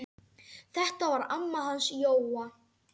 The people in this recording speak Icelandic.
Þetta var amma hans Jóa.